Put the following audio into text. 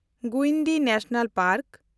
Guindy national park